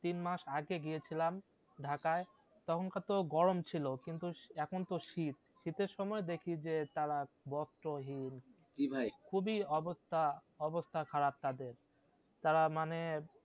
তিন মাস আগে গিয়ে ছিলাম ঢাকায় তখন তো গরম ছিলো কিন্তু এখন তো শীত, শীতের সময় দেখি যে তারা বস্ত্রহীন, খুবই অবস্থা অবস্থা খারাপ তাদের তাঁরা মানে